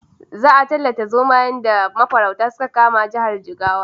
Za a ttallata zomayen da mafaurata suka kama jihar Jigawa.